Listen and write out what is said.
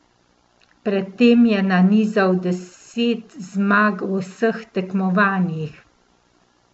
Pred tem je nanizal deset zmag v vseh tekmovanjih.